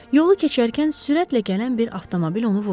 Yolu keçərkən sürətlə gələn bir avtomobil onu vurdu.